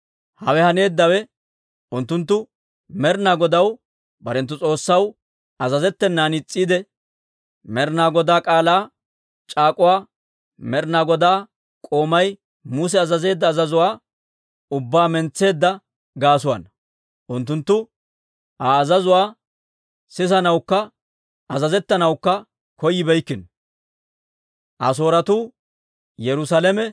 Hawe haneeddawe unttunttu Med'ina Godaw barenttu S'oossaw azazettenan is's'iide, Med'ina Godaa k'aalaa c'aak'uwaa, Med'ina Godaa k'oomay Muse azazeedda azazuwaa ubbaa mentseedda gaasuwaana. Unttunttu Aa azazuwaa sisanawukka azazettanawukka koyibeeykkino.